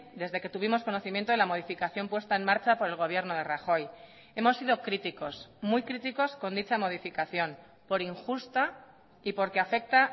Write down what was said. desde que tuvimos conocimiento de la modificación puesta en marcha por el gobierno de rajoy hemos sido críticos muy críticos con dicha modificación por injusta y porque afecta